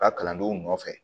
Ka kalandenw nɔfɛ